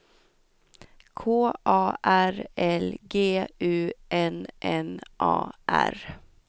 K A R L G U N N A R